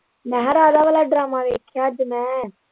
ਮੈਂ ਕਿਹਾ ਰਾਧਾ ਵਾਲ਼ਾ ਡਰਾਮਾ ਵੇਖਿਆ ਅੱਜ ਮੈਂ।